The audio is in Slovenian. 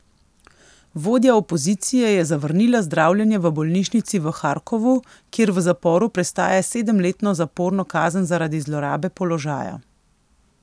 Vodja opozicije je zavrnila zdravljenje v bolnišnici v Harkovu, kjer v zaporu prestaja sedemletno zaporno kazen zaradi zlorabe položaja.